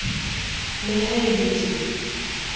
le ha e be ke